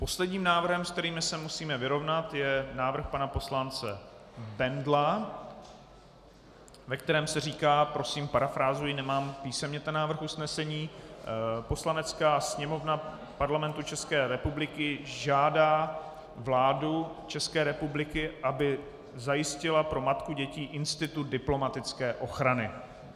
Posledním návrhem, s kterým se musíme vyrovnat, je návrh pana poslance Bendla, ve kterém se říká - prosím, parafrázuji, nemám písemně ten návrh usnesení: Poslanecká sněmovna Parlamentu České republiky žádá vládu České republiky, aby zajistila pro matku dětí institut diplomatické ochrany.